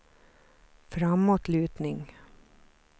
framåtlutning